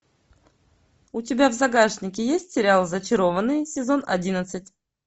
у тебя в загашнике есть сериал зачарованные сезон одиннадцать